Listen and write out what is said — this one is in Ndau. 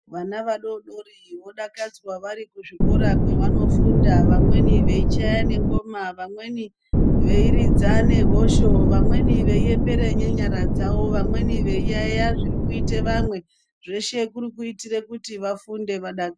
Vana vadori dori vodakadzwa vari kuzvikora kwevanofunda vamweni veichaya nengoma vamweni veiridza nehosho vamweni veiembere nenyara dzawo vamweni veiyeya zviri kuite vamwe zveshe kuri kuitire kuti vafunde vada..